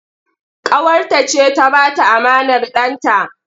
Ƙawarta ce ta ba ta amanar ɗanta.